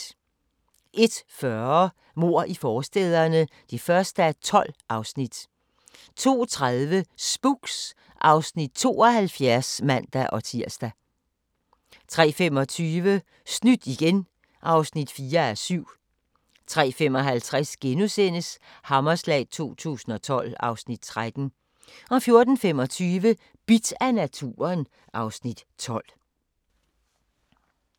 01:40: Mord i forstæderne (1:12) 02:30: Spooks (Afs. 72)(man-tir) 03:25: Snydt igen (4:7) 03:55: Hammerslag 2012 (Afs. 13)* 04:25: Bidt af naturen (Afs. 12)